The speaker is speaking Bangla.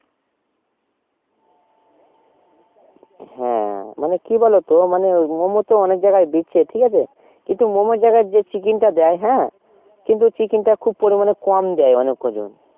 হ্যা মানে কি বলো তো মানে মোমো তো অনেক জায়গায় বেচছে ঠিক আছে কিন্তু মোমো জায়গায় যে ciken টা দেয় হ্যা কিন্তু ciken খুব পরিমানে কম দেয় অনেক কয়জন